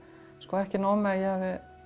ekki nóg með að ég hafi